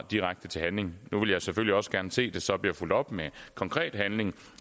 direkte til handling nu vil jeg selvfølgelig også gerne se at det så bliver fulgt op med konkret handling